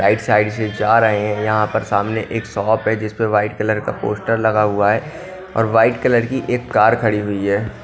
Right side से जा रहे हैं यहां पर सामने एक शॉप है जिसपे व्हाइट कलर का पोस्टर लगा हुआ है और वाइट कलर की एक कार खड़ी हुई है।